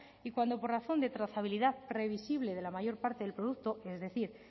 y cuando por razón de trazabilidad previsible de la mayor parte del producto es decir